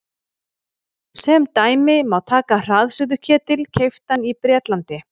sem dæmi má taka hraðsuðuketil keyptan í bretlandi